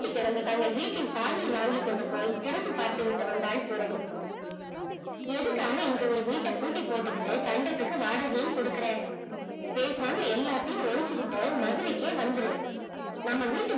பூட்டி கிடந்த தங்கள் வீட்டு சாவி வாங்கி கொண்டு போய் திறந்து பார்த்துவிட்டு வந்தால் பூரணி எதுக்காக இங்க ஒரு வீட்ட பூட்டி போட்டுக் கொண்டு தண்டத்துக்கு வாடகையும் கொடுக்குற பேசாம எல்லாத்தையும் ஒலிச்சிக்கிட்டு மதுரைகே வந்துரு நம்ம வீட்டு